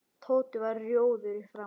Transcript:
Tóti varð rjóður í framan.